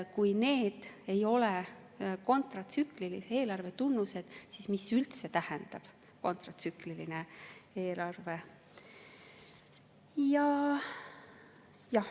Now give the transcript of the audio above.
Kui need ei ole kontratsüklilise eelarve tunnused, siis mis üldse tähendab kontratsükliline eelarve?